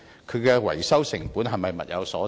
其維修成本是否物有所值？